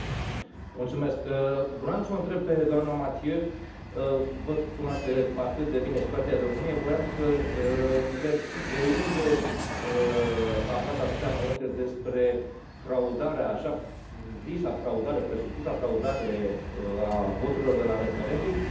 Voiam să o întreb pe doamna Mathieu văd că cunoaște atât de bine situația din România voiam să o întreb de unde a aflat atâtea amănunte despre fraudarea, așa zisa fraudare, presupusa fraudare a voturilor de la referendum și, de asemenea, dacă,